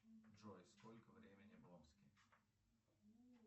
джой сколько времени в омске